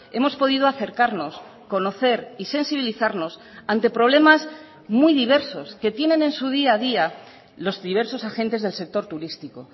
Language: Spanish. hemos podido acercarnos conocer y sensibilizarnos ante problemas muy diversos que tienen en su día a día los diversos agentes del sector turístico